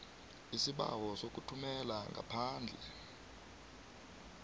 isibawo sokuthumela ngaphandle